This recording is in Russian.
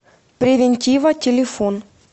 превентива телефон